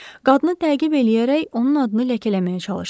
Qadını təqib eləyərək onun adını ləkələməyə çalışsın.